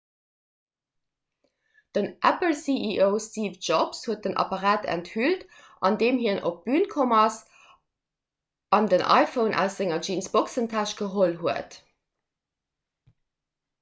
den apple-ceo steve jobs huet den apparat enthüllt andeem hien op d'bün komm ass an den iphone aus senger jeansboxentäsch geholl huet